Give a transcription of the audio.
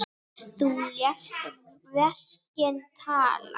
Þú lést verkin tala.